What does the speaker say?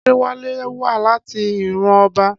Adéwálé wá láti ìran ọba.